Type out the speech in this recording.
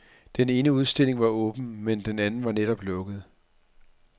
Den ene udstilling var åben, men den anden var netop lukket.